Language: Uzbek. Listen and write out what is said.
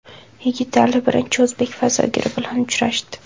Yigitali birinchi o‘zbek fazogiri bilan uchrashdi.